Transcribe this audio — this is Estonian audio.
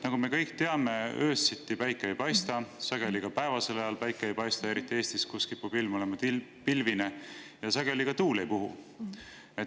Nagu me kõik teame, siis öösiti päike ei paista, sageli ei paista ka päevasel ajal, eriti Eestis, kus kipub ilm olema pilvine, sageli ka tuul ei puhu.